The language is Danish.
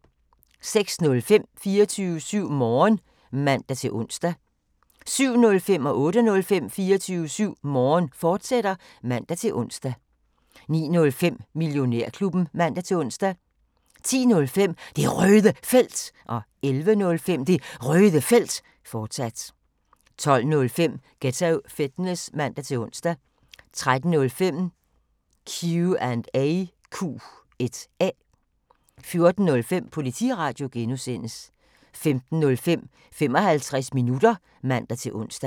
06:05: 24syv Morgen (man-ons) 07:05: 24syv Morgen, fortsat (man-ons) 08:05: 24syv Morgen, fortsat (man-ons) 09:05: Millionærklubben (man-ons) 10:05: Det Røde Felt 11:05: Det Røde Felt, fortsat 12:05: Ghetto Fitness (man-ons) 13:05: Q&A 14:05: Politiradio (G) 15:05: 55 minutter (man-ons)